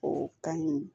O kan ɲi